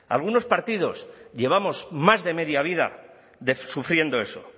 algunos partidos llevamos más de media vida sufriendo eso